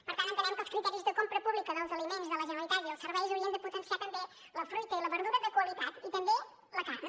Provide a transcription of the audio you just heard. per tant entenem que els criteris de compra pública dels aliments de la generalitat i els serveis haurien de potenciar també la fruita i la verdura de qualitat i també la carn